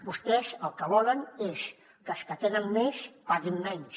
vostès el que volen és que els que tenen més paguin menys